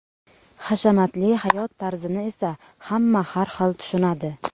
Hashamatli hayot tarzini esa hamma har xil tushunadi.